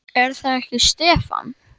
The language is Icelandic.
Er það ekki Stefán?